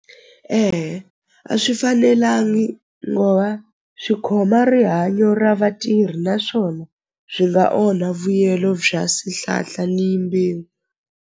a swi fanelangi ngo va swi khoma rihanyo ra vatirhi naswona byi nga onha vuyelo bya swihlahla ni mbewu.